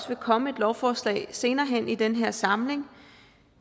vil komme et lovforslag senere hen i den her samling